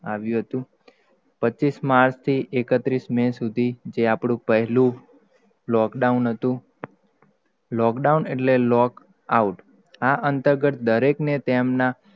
આવ્યું હતું પચીસ માર્ચ થી એકત્રીસ, મે સુધી, જે આપડું પહેલું lockdown હતું, lockdown એટલે lock out અંતર્ગત દરેક ને તેમનાં,